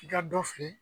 I ka dɔ feere